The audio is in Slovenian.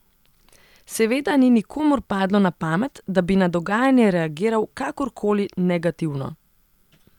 Seveda ni nikomur padlo na pamet, da bi na dogajanje reagiral kakorkoli negativno.